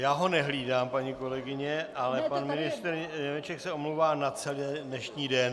Já ho nehlídám, paní kolegyně, ale pan ministr Němeček se omlouvá na celý dnešní den.